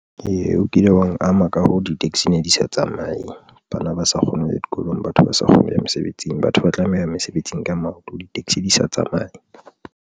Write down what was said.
Ee, o kile wa ama ka ho di-taxi ne di sa tsamaye bana ba sa kgoneng ho ya dikolong, batho ba sa kgone ho ya mesebetsing, batho ba tlameha ho ya mesebetsing ka maoto, di-taxi di sa tsamaye.